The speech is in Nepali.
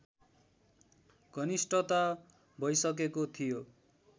घनिष्ठता भइसकेको थियो